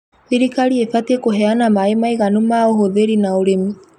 Thirikari ĩbatiĩ kuheana maaĩ maiganu ma ũhũthĩri na ũrĩmi